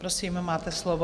Prosím, máte slovo.